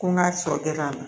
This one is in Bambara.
Ko n ka sɔ kɛ la